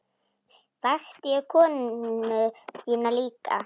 Vakti ég konu þína líka?